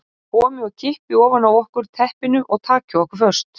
Komi og kippi ofan af okkur teppinu og taki okkur föst.